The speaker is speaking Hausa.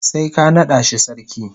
sai ka nada shi sarki.